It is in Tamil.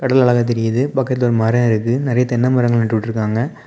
இவ்வளவு அழகா தெரியுது பக்கத்துல ஒரு மரம் இருக்கு நிறைய தென்னை மரங்க நட்டு வுட்டுருக்காங்க.